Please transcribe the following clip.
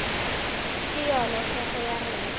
ke yona tshepo ya rena